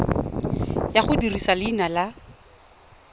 ya go dirisa leina la